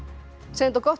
gott